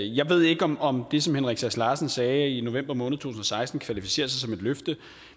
jeg ved ikke om om det som herre henrik sass larsen sagde i november måned to tusind og seksten kvalificerer sig som et løfte